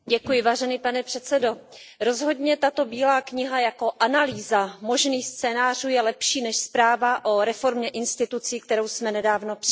Pane předsedající, rozhodně tato bílá kniha jako analýza možných scénářů je lepší než zpráva o reformě institucí, kterou jsme nedávno přijali.